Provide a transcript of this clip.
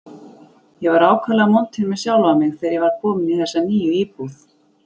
Ég var ákaflega montinn með sjálfan mig, þegar ég var kominn í þessa nýju íbúð.